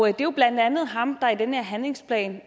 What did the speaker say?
er jo blandt andet ham der i den her handlingsplan